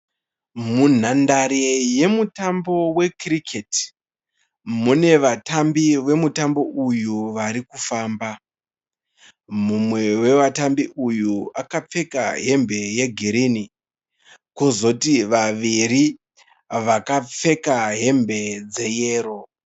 Munhandare yemutambo wekiriketi mune vatambi vemutambo uyu varikufamba. Mumwe wevatambi uyu akapfeka hembe yegirini, kozoti vaviri vakapfeka hembe dzeyero.